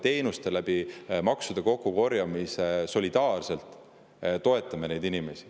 Praegu me maksame maksude kokkukorjamise teel solidaarselt ja toetame neid inimesi.